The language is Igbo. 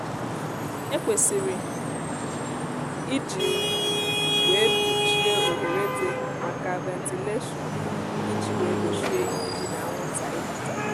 e kwesịrị iji ugbu wee mpuchie oghere di maka ventilashion iji wee gbochie ijiji na anwụnta ibata